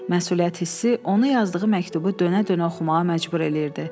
Məsuliyyət hissi onu yazdığı məktubu dönə-dönə oxumağa məcbur eləyirdi.